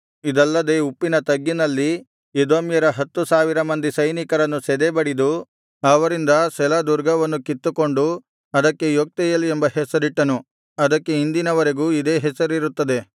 ಇದಲ್ಲದೆ ಉಪ್ಪಿನ ತಗ್ಗಿನಲ್ಲಿ ಎದೋಮ್ಯರ ಹತ್ತು ಸಾವಿರ ಮಂದಿ ಸೈನಿಕರನ್ನು ಸದೆಬಡಿದು ಅವರಿಂದ ಸೆಲ ದುರ್ಗವನ್ನು ಕಿತ್ತುಕೊಂಡು ಅದಕ್ಕೆ ಯೊಕ್ತೆಯೇಲ್ ಎಂಬ ಹೆಸರಿಟ್ಟನು ಅದಕ್ಕೆ ಇಂದಿನವರೆಗೂ ಇದೇ ಹೆಸರಿರುತ್ತದೆ